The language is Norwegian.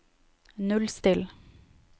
nullstill